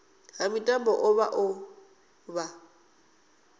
ha mitambo vha o vha